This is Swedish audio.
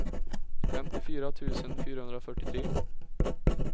femtiofyra tusen fyrahundrafyrtiotre